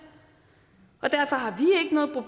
og derfor har